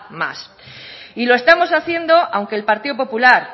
más y lo estamos haciendo aunque el partido popular